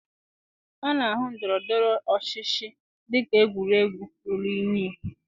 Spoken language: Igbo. A na-ahụ ndọrọ ndọrọ ọchịchị dị ka egwuregwu ruru unyi